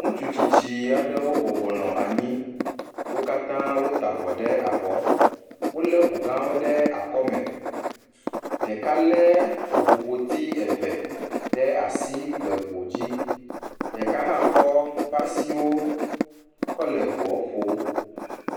Ŋutsu tsitsi aɖewo bɔbɔ nɔ anyi, wo katã wota avɔ ɖe abɔ, wolé ŋu gãwo ɖe akɔme, ɖeka lé ŋu ƒoti eve ɖe asi, ɖeka hã kɔ eƒe asiwo kɔ le ŋua ƒom.